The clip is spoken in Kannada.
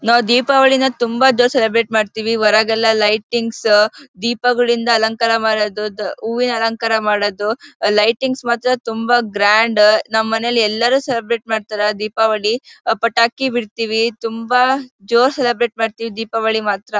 ನಾವು ದೀಪಾವಳಿನ ತುಂಬಾ ದಿವಸ ಸೆಲೆಬ್ರೇಟ್ ಮಾಡ್ತೀವಿ. ಹೊರಗೆಲ್ಲ ಲೈಟಿಂಗ್ಸ್ ದೀಪಗಳಿಂದ ಅಲಂಕಾರ ಮಾಡೋದು ಹೂವಿನ ಅಲಂಕಾರ ಮಾಡೋದು ಲೈಟಿಂಗ್ಸ್ ಮಾತ್ರ ತುಂಬಾ ಗ್ರಾಂಡ್ ನಮ್ಮನೇಲಿ ಎಲ್ಲರು ಸೆಲೆಬ್ರೇಟ್ ಮಾಡ್ತಾರೆ. ದೀಪಾವಳಿ ಪಟಾಕಿ ಬಿಡ್ತೀವಿ ತುಂಬಾ ಜೋರು ಸೆಲೆಬ್ರೇಟ್ ಮಾಡ್ತೀವಿ ದೀಪಾವಳಿ ಮಾತ್ರ.